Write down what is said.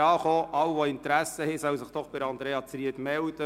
Alle, die Interesse haben, sollen sich bitte bei Andrea Zryd melden.